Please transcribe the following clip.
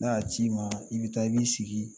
N'a ci ma, i bi taa, i b'i sigi